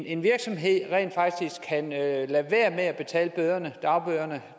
en virksomhed rent faktisk kan lade være med at betale dagbøderne